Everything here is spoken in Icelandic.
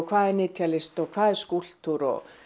hvað er nytjalist hvað er skúlptúr og